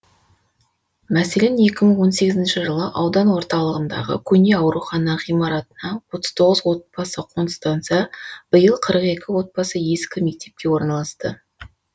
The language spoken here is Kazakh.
мәселен екі мың он сегізінші жылы аудан орталығындағы көне аурухана ғимаратына отыз тоғыз отбасы қоныстанса биыл қырық екі отбасы ескі мектепке орналасты